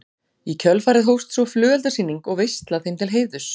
Í kjölfarið hófst svo flugeldasýning og veisla þeim til heiðurs.